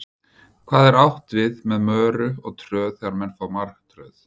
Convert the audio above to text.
hvað er átt við með möru og tröð þegar menn fá martröð